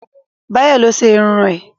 Báyọ̀ lo ṣe irun ẹ̀